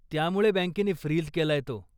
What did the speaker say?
त्यामुळे बँकेनी फ्रीज केलाय तो.